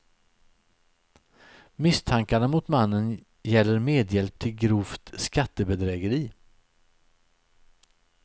Misstankarna mot mannen gäller medhjälp till grovt skattebedrägeri.